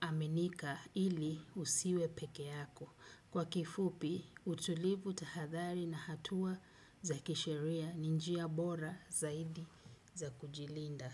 aminika ili usiwe peke yako. Kwa kifupi, utulivu tahadhali na hatua za kisheria ni njia bora zaidi za kujilinda.